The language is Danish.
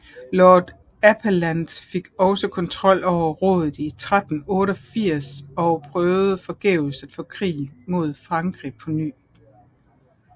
Lords Appellant fik også kontrol over rådet i 1388 og prøvede forgæves at få krig mod Frankrig på ny